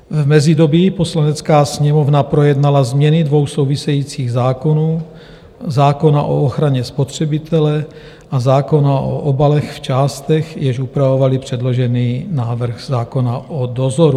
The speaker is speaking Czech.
V mezidobí Poslanecká sněmovna projednala změny dvou souvisejících zákonů, zákona o ochraně spotřebitele a zákona o obalech v částech, jež upravovaly předložený návrh zákona o dozoru.